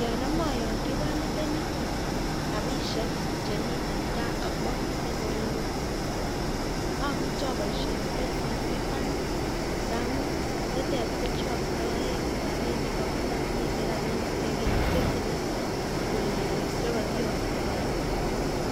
Yoon amae ayakyi kanyitenik kyum rabisiek chemiten ka akomiten olelo amuche abaiishen Kenya commercial Bank ingamuun nitet kochaktaen Ako mamiten rabinik chetile kole kole Chekakiaktoen